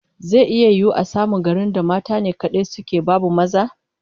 Zai yiwu a samu garin da mata ne kadai suke, babu maza?